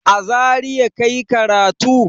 A Zariya ka yi karatu?